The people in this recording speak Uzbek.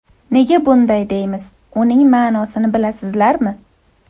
Nega bunday deymiz, uning ma’nosini bilasizlarmi?